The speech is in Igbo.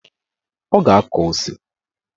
Ọ ga-akọ ose.